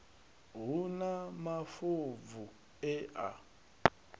hu na mafobvu e a